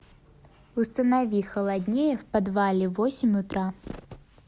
установи холоднее в подвале в восемь утра